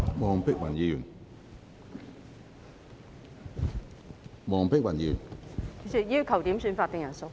主席，我要求點算法定人數。